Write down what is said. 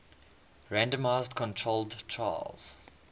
randomized controlled trials